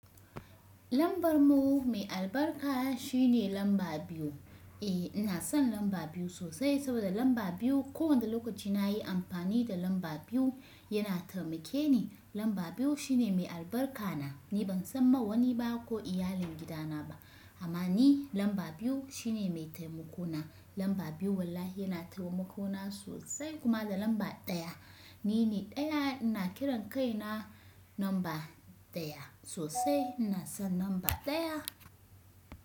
Lambar mu mai albarka shine lamba biyu. Eh ina son lamba biyu sosai saboda lamba biyu kowane lokaci na yi amfani da lamba biyu yana taimake ni. Lamba biyu shine mai albarka na. Ni ban san ma wani ba ko iyalin gidana ba amma ni lamba biyu shine mai taimako na. Lamba biyu wallahi yana taimako na sosai kuma da lamba ɗaya. Ni ne ɗaya ina kiran kaina lamba ɗaya sosai. Ina son lamba ɗaya.